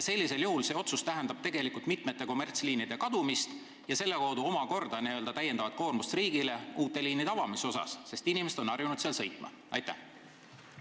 See otsus tähendab tegelikult mitme kommertsliini kadumist, mis toob omakorda kaasa täiendava koormuse riigile uute liinide avamisel, sest inimesed on harjunud seal ühistranspordiga sõitma.